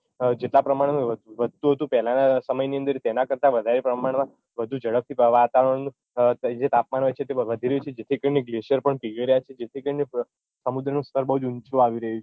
જેટલાં પ્રમાણમાં વધતું હતું તેના સમયની અંદર તેનાં કરતા વધારે પ્રમાણમાં વધુ જડપથી વાતાવરણનું જે તાપમાન હોય છે તે વધી રહ્યું છે જેથી કરીને glacier પીગળી રહ્યાં છે જેથી કરીને સમુદ્રનું સ્તર બૌ ઊંચું આવી રહ્યું છે